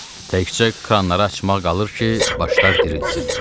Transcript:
“Təkcə kranları açmaq qalır ki, başlar dirilsin.”